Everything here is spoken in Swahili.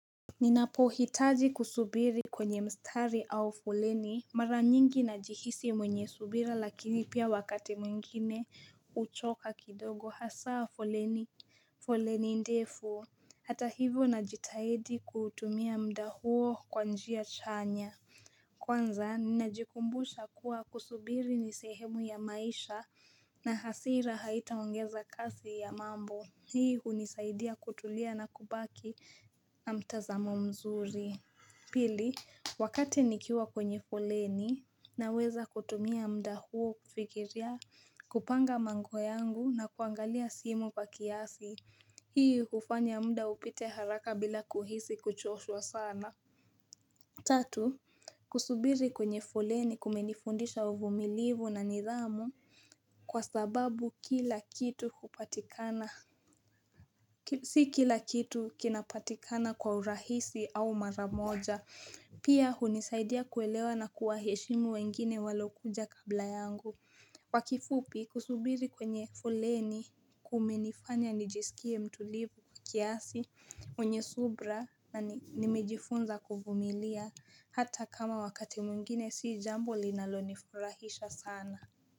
Ninapo hitaji kusubiri kwenye mstari au foleni mara nyingi najihisi mwenye subira lakini pia wakati mwingine uchoka kidogo hasaa foleni foleni ndefu hata hivyo najitahelidi kutumia mda huo kwa njia chanya Kwanza, ninajikumbusha kuwa kusubiri nisehemu ya maisha na hasira haitaongeza kasi ya mambo. Hii unisaidia kutulia na kubaki na mtazamo mzuri. Pili, wakati nikiwa kwenye foleni na weza kutumia mda huo kufikiria kupanga mambo yangu na kuangalia simu kwa kiasi. Hii ufanya mda upite haraka bila kuhisi kuchoshwa sana. Tatu, kusubiri kwenye foleni kumenifundisha uvumilivu na nidhamu kwa sababu kila kitu kupatikana, si kila kitu kinapatikana kwa urahisi au maramoja, pia hunisaidia kuelewa na kuwa heshimu wengine walokuja kabla yangu. Kwakifupi kusubiri kwenye foleni kumenifanya nijisikie mtulivu kiasi mwenyesubra na nimejifunza kuvumilia hata kama wakati mwingine si jambo linalo nifurahisha sana.